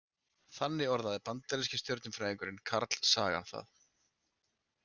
Þannig orðaði bandaríski stjörnufræðingurinn Carl Sagan það.